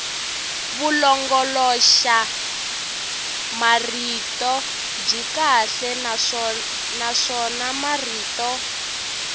vulongoloxamarito byi kahle naswona marito